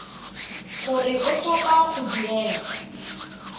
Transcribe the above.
gore o tlhopha go duela